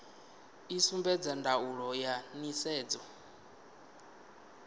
i sumbedza ndaulo ya nisedzo